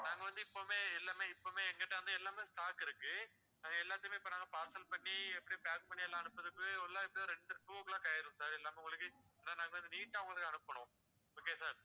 நம்ம வந்து இப்பமே எல்லாமே இப்பமே என்கிட்ட வந்து எல்லாமே stock இருக்கு எல்லாத்தையுமே இப்போஅ நாங்க parcel பண்ணி எப்படி pack பண்ணி எல்லாம் அனுப்புறதுக்கு எல்லா ஒரு two o'clock ஆகிடும் sir எல்லாமே உங்களுக்கு என்ன neat ஆ உங்களுக்கு அனுப்பணும் okay யா sir